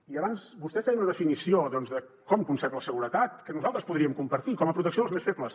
i abans vostè feia una definició doncs de com concep la seguretat que nosaltres podríem compartir com a protecció dels més febles